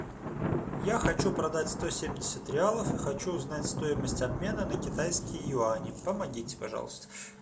я хочу продать сто семьдесят реалов и хочу узнать стоимость обмена на китайские юани помогите пожалуйста